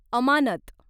अमानत